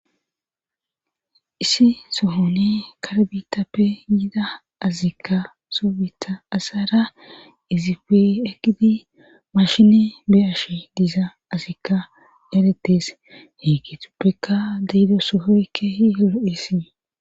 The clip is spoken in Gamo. issi sohone karbitappe yida azikka soobita asara izife ekidi mashine beyashe diza azikka yaletes hegetuppeka diido sohoykke hi olo7essii